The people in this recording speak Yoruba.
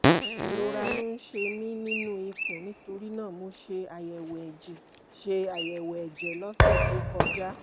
ìrora ló ń ṣe mí nínú ikùn nítorí náà mo ṣe àyẹ̀wò ẹ̀jẹ̀ ṣe àyẹ̀wò ẹ̀jẹ̀ lọ́sẹ̀ tó kọjá